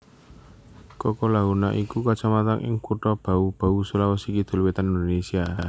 Kokalukuna iku kacamatan ing Kutha Bau Bau Sulawesi Kidul Wétan Indonesia